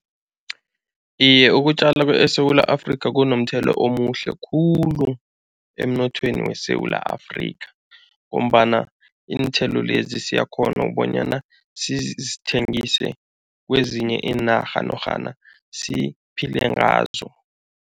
Iye, ukutjala eSewula Afrika kunomthela omuhle khulu emnothweni weSewula Afrika ngombana iinthelo lezi siyakghona ukubonyana sizithengise kwezinye iinarha norhana siphile ngazo.